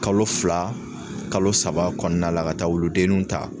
Kalo fila kalo saba kɔɔna la ka taa wuludenninw ta